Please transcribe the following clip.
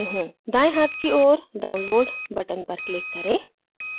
दायें हाथ की ओर download button पर click करें